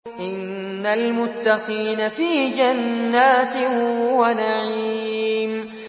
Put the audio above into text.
إِنَّ الْمُتَّقِينَ فِي جَنَّاتٍ وَنَعِيمٍ